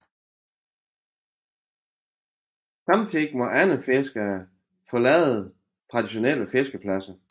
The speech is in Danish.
Samtidig må andre fiskere forlade traditionelle fiskepladser